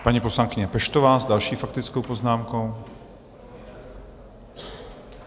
Paní poslankyně Peštová s další faktickou poznámkou.